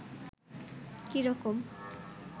কী রকম